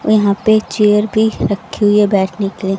यहां पर चेयर भी रखी हुई है बैठने के लिए--